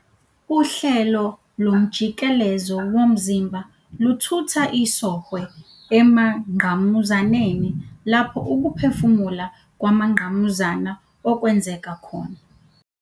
Uhlelo lomjikelezo womzimba luthutha isOhwe emangqamuzaneni, lapho ukuphefumula kwamangqamuzana okwenzeka khona.